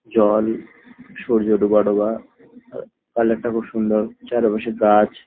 জল সূর্য ডোবা ডোবা কালার -টা খুব সুন্দর চারিপাশে গাছ।